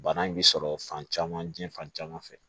Bana in bɛ sɔrɔ fan caman jiɲɛ fan caman fɛ